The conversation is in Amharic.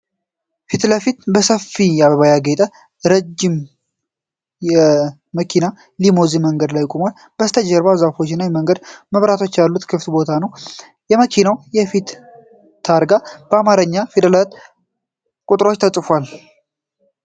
ፊትለፊት በሰፊ አበባ ያጌጠ ነጭ ረዥም መኪና (ሊሙዚን) በመንገድ ዳር ቆሟል፡፡ ከበስተጀርባ ዛፎች እና የመንገድ መብራቶች ያሉት ክፍት ቦታዎች አሉ። የመኪናው የፊት ታርጋ በአማርኛ ፊደላትና ቁጥሮች ተፅፏል።